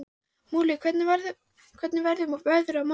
Múli, hvernig verður veðrið á morgun?